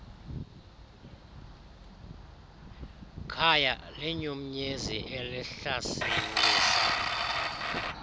khaya linyumnyezi elihlasimlisa